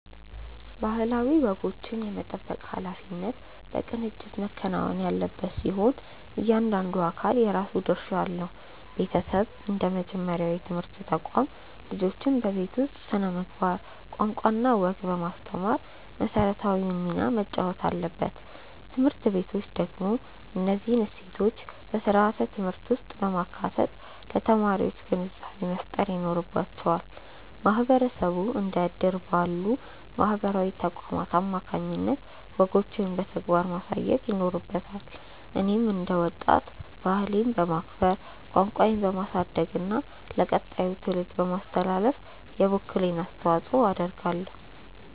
ባህላዊ ወጎችን የመጠበቅ ኃላፊነት በቅንጅት መከናወን ያለበት ሲሆን፣ እያንዳንዱ አካል የራሱ ድርሻ አለው። ቤተሰብ እንደ መጀመሪያው የትምህርት ተቋም፣ ልጆችን በቤት ውስጥ ስነ-ምግባር፣ ቋንቋና ወግ በማስተማር መሰረታዊውን ሚና መጫወት አለበት። ትምህርት ቤቶች ደግሞ እነዚህን እሴቶች በስርዓተ-ትምህርት ውስጥ በማካተት ለተማሪዎች ግንዛቤ መፍጠር ይኖርባቸዋል። ማህበረሰቡ እንደ እድር ባሉ ማህበራዊ ተቋማት አማካኝነት ወጎችን በተግባር ማሳየት ይኖርበታል። እኔም እንደ ወጣት፣ ባህሌን በማክበር፣ ቋንቋዬን በማሳደግና ለቀጣዩ ትውልድ በማስተላለፍ የበኩሌን አስተዋጽኦ አደርጋለሁ።